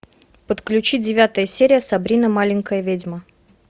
подключи девятая серия сабрина маленькая ведьма